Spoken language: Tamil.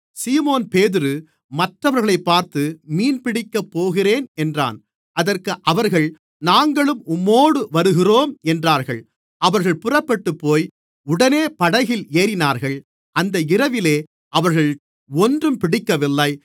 சீமோன்பேதுரு மற்றவர்களைப் பார்த்து மீன்பிடிக்கப் போகிறேன் என்றான் அதற்கு அவர்கள் நாங்களும் உம்மோடு வருகிறோம் என்றார்கள் அவர்கள் புறப்பட்டுப்போய் உடனே படகில் ஏறினார்கள் அந்த இரவிலே அவர்கள் ஒன்றும் பிடிக்கவில்லை